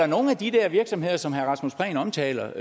nogle af de der virksomheder som herre rasmus prehn omtaler